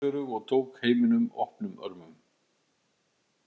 Margrét var fjörug og tók heiminum opnum örmum.